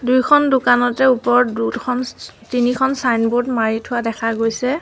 দুইখন দোকানতে ওপৰত দুখন চ চ তিনিখন ছাইনবোৰ্ড মাৰি থোৱা দেখা গৈছে।